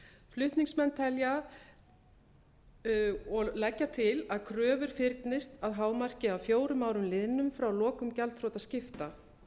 flutningsmenn telja og leggja til að kröfur fyrnist að hámarki að fjórum árum liðnum frá lokum gjaldþrotaskipta